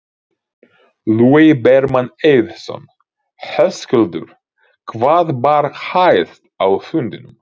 Logi Bergmann Eiðsson: Höskuldur hvað bar hæst á fundinum?